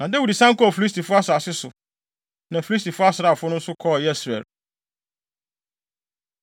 Na Dawid san kɔɔ Filistifo asase so, na Filistifo asraafo no nso kɔɔ Yesreel.